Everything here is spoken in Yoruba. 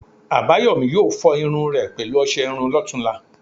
Àbáyòmí yóò fọ irun rẹ̀ pẹ̀lú ọsẹ iru lọ́tunla